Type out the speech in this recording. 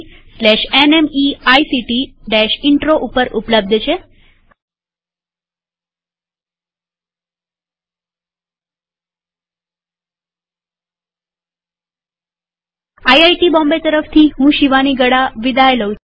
IIT Bombay તરફથી હું શિવાની ગડા વિદાય લઉં છુંટ્યુ્ટોરીઅલમાં ભાગ લેવા આભાર